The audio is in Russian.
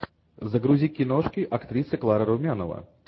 загрузи киношки актриса клара румянова